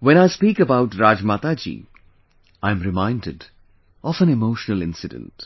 when I speak about Rajmata ji, I am reminded of an emotional incident